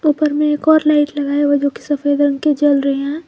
ऊपर में एक और लाइट लगाई गई है जो कि सफेद रंग की जल रही है।